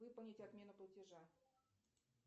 выполнить отмену платежа